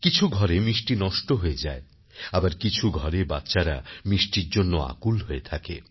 কিছু ঘরে মিষ্টি নষ্ট হয়ে যায় আবার কিছু ঘরে বাচ্চারা মিষ্টির জন্য আকুল হয়ে থাকে